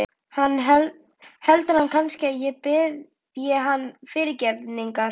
Heldur hann kannski að ég biðji hann fyrirgefningar?